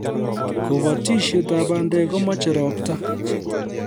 Kobotishet ab bandek komache robta